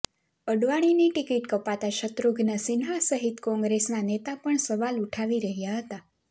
અડવાણીની ticket કપાતા શત્રુઘ્ન સિન્હા સહિત કોંગ્રેસના નેતા પણ સવાલ ઉઠાવી રહ્યા હતા